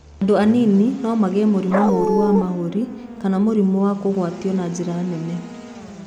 Andũ anini no magĩe mũrimũ mũru wa mahũri kana mũrimũ wakũgwatio na njĩra nene.